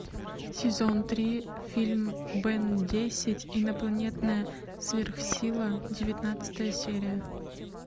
сезон три фильм бен десять инопланетная сверхсила девятнадцатая серия